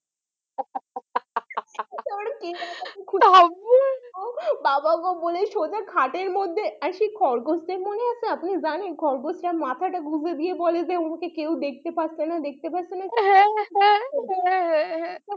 বাবা বলে সোজা খাটের মধ্যে actually খরগোশদের মনে আছেন আপনি জানেন খরগোশদের মাথাটা গুজে দিয়ে বলে যে উনাকে কেউ দেখতে পাচ্ছে না দেখতে পাচ্ছে না হ্যাঁ হ্যাঁ হ্যাঁ হ্যাঁ